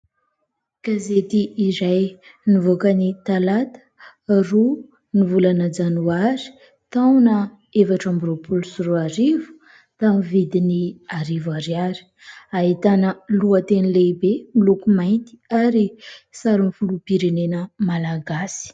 Gazety iray izay nivoaka ny talata, roa ny volana janoary, taona efatra amby roapolo sy roa arivo, tamin'ny vidiny arivo ariary ; ahitana lohateny lehibe miloko mainty ary sarin'ny filoham-pirenena malagasy.